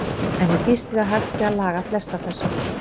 En ég býst við að hægt sé að laga flest af þessu.